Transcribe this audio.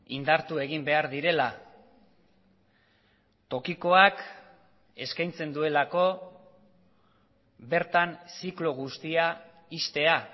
indartu egin behar direla tokikoak eskaintzen duelako bertan ziklo guztia ixtea